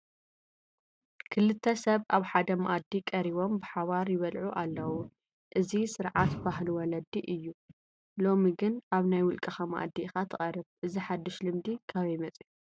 ክልተ ሰብ ኣብ ሓደ መኣዲ ቀሪቦም ብሓባር ይበልዑ ኣለዉ፡፡ እዚ ስርዓት ባህሊ ወለዲ እዩ፡፡ ሎሚ ግን ኣብ ናይ ውልቀኻ መኣዲ ኢኻ ትቀርብ፡፡ እዚ ሓዱሽ ልምዲ ካበይ መፂኡ?